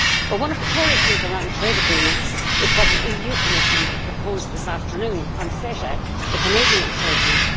One of the core issues around trade agreements is what the Commission proposed this afternoon on CETA, the Canadian trade deal.